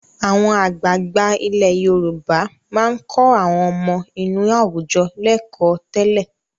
Àwọn àgbààgbà ilẹ̀ Yorùbá máa ń kọ́ àwọn ọmọ inú àwùjọ lẹ́kọ̀ọ́ tẹ́lẹ̀.